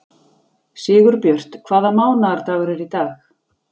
Sigurbjört, hvaða mánaðardagur er í dag?